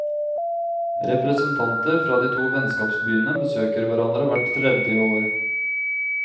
Representanter fra de to vennskapsbyene besøker hverandre hvert tredje år.